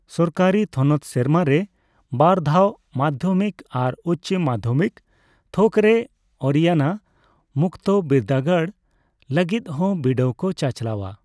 ᱥᱚᱨᱠᱟᱨᱤ ᱛᱷᱚᱱᱚᱛ ᱥᱮᱨᱢᱟ ᱨᱮ ᱵᱟᱨ ᱫᱷᱟᱣ ᱢᱟᱫᱽᱫᱷᱚᱢᱤᱠ ᱟᱨ ᱩᱪᱪᱚ ᱢᱟᱫᱽᱫᱷᱚᱢᱤᱠ ᱛᱷᱚᱠᱨᱮ ᱚᱨᱤᱭᱟᱱᱟ ᱢᱩᱠᱛᱚ ᱵᱤᱨᱫᱟᱹᱜᱟᱲ ᱞᱟᱜᱤᱫᱦᱚᱸ ᱵᱤᱰᱟᱹᱣ ᱠᱚ ᱪᱟᱪᱞᱟᱣᱼᱟ ᱾